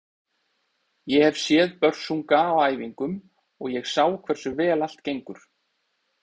Ég hef séð Börsunga á æfingum og ég sá hversu vel allt gengur.